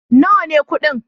Nawa ne kuɗin?